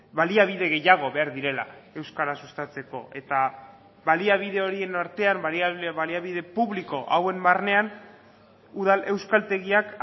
baliabide gehiago behar direla euskara sustatzeko eta baliabide horien artean baliabide publiko hauen barnean udal euskaltegiak